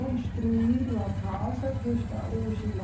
Construído a casa que está hoje lá.